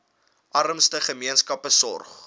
armste gemeenskappe sorg